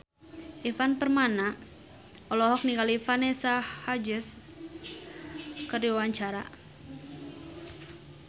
Ivan Permana olohok ningali Vanessa Hudgens keur diwawancara